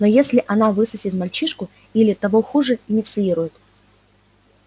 но если она высосет мальчишку или того хуже инициирует